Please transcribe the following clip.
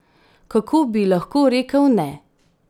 Kako bi lahko rekel ne?